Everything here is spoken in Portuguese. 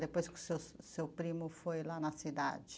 Depois que os seus seu primo foi lá na cidade?